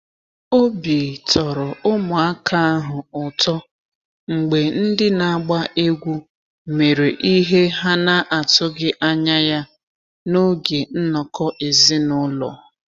Obi tọrọ ụmụaka ahụ ụtọ mgbe ndị na-agba egwú mere ihe ha na atụghị anya ya n’oge nnọkọ ezinụlọ.